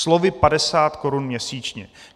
Slovy padesát korun měsíčně!